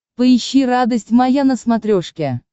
поищи радость моя на смотрешке